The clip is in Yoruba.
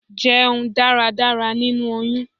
Jẹun dáradára nínú oyún!